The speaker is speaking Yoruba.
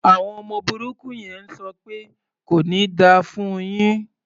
Àwọn ọmọ burúkú yẹn ń sọ pẹ́ "kò ní da fún un yín".